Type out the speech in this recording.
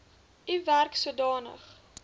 u werk sodanig